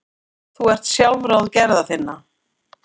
Þú ert sjálfráð gerða þinna.